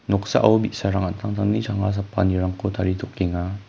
noksao bi·sarang an·tangtangni changa sapanirangko taritokenga.